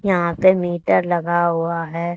यहां पे मीटर लगा हुआ है।